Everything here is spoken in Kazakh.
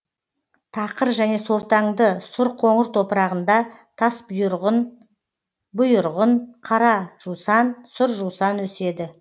тақыр және сортаңды сұр қоңыр топырағында тасбұйырғын бұйырғын қара жусан сұр жусан өседі